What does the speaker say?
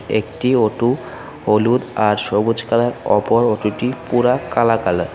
একটি অটো হলুদ আর সবুজ কালার অপর অটো -টি পুরা কালা কালার ।